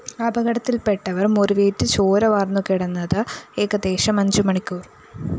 അപകടത്തില്‍പ്പെട്ടവര്‍ മുറിവേറ്റ് ചോര വാര്‍ന്നുകിടന്നത് ഏകദേശം അഞ്ച് മണിക്കൂര്‍